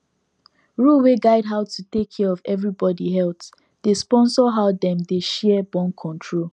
rule wey guide how to take care of everybody healthdey sponsor how dem dey share borncontrol